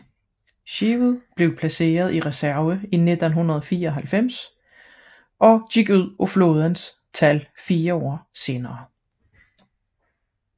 Skibet blev placeret i reserve i 1994 og udgik af flådens tal fire år senere